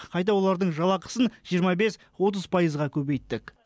қайта олардың жалақысын жиырма бес отыз пайызға көбейттік